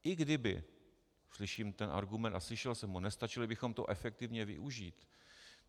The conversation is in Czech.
I kdyby - slyším ten argument a slyšel jsem ho - nestačili bychom to efektivně využít.